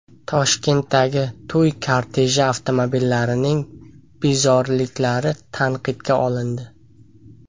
Toshkentdagi to‘y korteji avtomobillarining bezoriliklari tanqidga olindi .